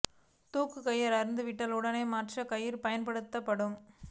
தூக்கு கயிறு அறுந்து விட்டால் உடனடியாக மாற்று கயிறு பயன்படுத்தப்படும்